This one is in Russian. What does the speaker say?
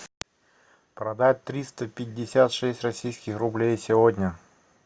продать триста пятьдесят шесть российских рублей сегодня